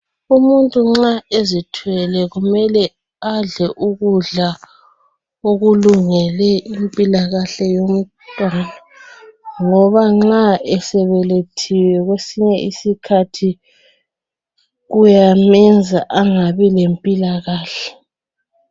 Umuntu nxa ezithwele kumele adle ukudla okulungele impilakahle yomntwana ngoba nxa esebelethile kwesinye isikhathi kuyamenza angabi lempikahle.